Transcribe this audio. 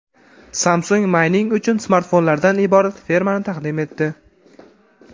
Samsung mayning uchun smartfonlardan iborat fermani taqdim etdi.